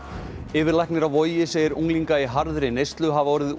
yfirlæknir á Vogi segir unglinga í harðri neyslu hafa orðið